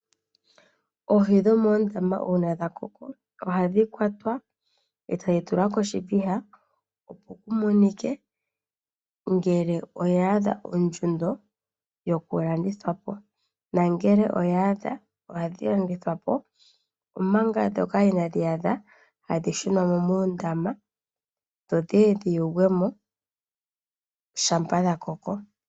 Oohi dhomoondama uuna dha koko ohadhi kwatwa etadhi tulwa koshiviha opo ku monike ngele oya adha ondjundo yokulandithwa po, nangele oya adha ohadhi landithwa po omanga ndhoka inaadhi adha ohadhi shunwa mo moondama dho dhiye dhi yogwe mo shampa dha koko.